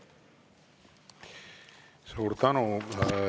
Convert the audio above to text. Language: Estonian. Suur tänu!